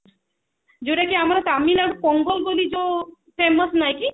ଯୋଉଟା କି ଆମର ତାମିଲନାଡୁ ପୋଙ୍ଗଲ ବୋଲି ଯୋଉ famous ନାଇଁ କି